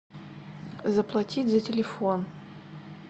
заплатить за телефон